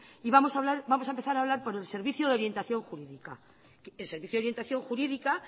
y vamos a empezar a hablar por el servicio de orientación jurídica el servicio de orientación jurídica